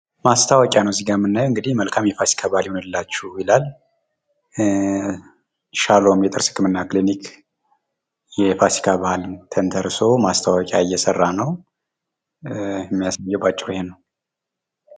ማስታወቂያ ነው እዚጋ የምናየው እንግዲህ መልካም የፋሲካ በአል ይሁንላችሁ ይላል ፤ ሻሎም የጥርስ ህክምና ክሊኒክ የፋሲካ በአልን ተንተርሶ ማስታወቂያ እየሰራ ነው ፤ በአጭሩ የሚያሳየው ይሄን ነው።